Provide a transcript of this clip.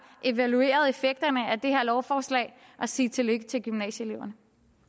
evalueret effekterne af det her lovforslag og sige tillykke til gymnasieeleverne